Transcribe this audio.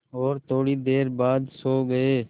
और थोड़ी देर बाद सो गए